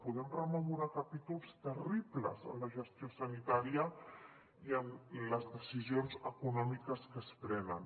podem rememorar capítols terribles en la gestió sanitària i en les decisions econòmiques que es prenen